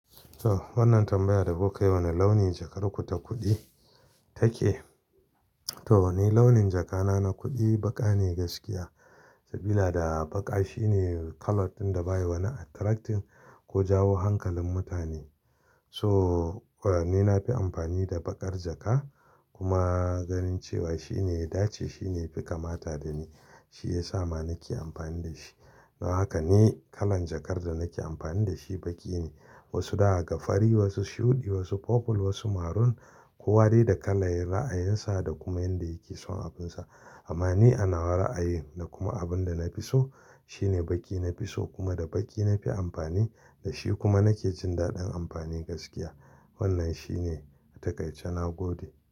To wannan tambaya da kuka yi wane launin jakar ku ta kuɗi take. To wane launin jakana na kuɗi ban gane gaskiya. Sabida baƙa shine colour ɗin da bayi wani attracting ko jawo hankalin mutane. So ni na fi amfani da baƙar jaka kuma ganin cewa shine ya dace shine yafi kamata dani. Shi yasa ma nake amfani da shi. Don haka ne kalan jakar da nake amfani da shi baƙi ne. Wasu zaa ga fari, wasu shuɗi, wasu purple, wasu maroon. Kowa dai da kala yayi ra'ayin sa da kuma yanda yake son abin sa. Amma ni ana ra'ayin da kuma abin da na fi so shine baƙi na fi so kuma da baƙi na fi amfani da shi kuma nake jin daɗin amfani gaskiya. Wannan shine taƙaice na gode.